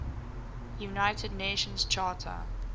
united nations charter